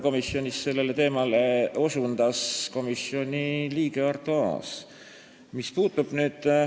Komisjonis osutas sellele teemale komisjoni liige Arto Aas.